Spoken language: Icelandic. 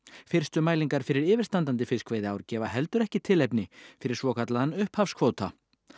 fyrstu mælingar fyrir yfirstandandi fiskveiðiár gefa heldur ekki tilefni fyrir svokallaðan upphafskvóta